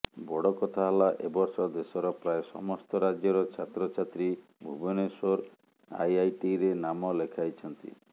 ବଡ଼ କଥା ହେଲା ଏବର୍ଷ ଦେଶର ପ୍ରାୟ ସମସ୍ତ ରାଜ୍ୟର ଛାତ୍ରଛାତ୍ରୀ ଭୁବନେଶ୍ବର ଆଇଆଇଟିରେ ନାମ ଲେଖାଇଛନ୍ତି